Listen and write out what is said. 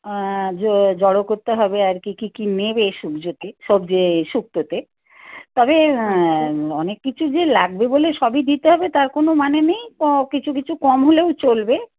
আহ জড়ো করতে হবে আর কি কি নেবে এই সবজি তে এই শুক্তো তে তবে অনেক কিছু যে লাগবে বলে সবই দিতে হবে তার কোনো মানে নেই কিছু কিছু কম হলেও চলবে